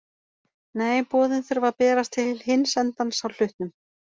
Nei, boðin þurfa að berast til hins endans á hlutnum.